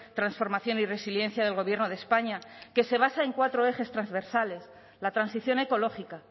transformación y resiliencia del gobierno de españa que se basa en cuatro ejes transversales la transición ecológica